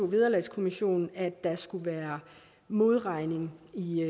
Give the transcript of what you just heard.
vederlagskommissionen at der skulle være modregning